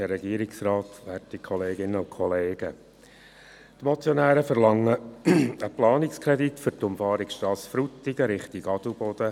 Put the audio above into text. Die Motionäre verlangen einen Planungskredit für die Umfahrungsstrasse Frutigen in Richtung Adelboden.